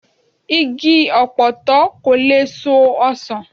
Igi ọ̀pọ̀tọ́ kò lè so ọsàn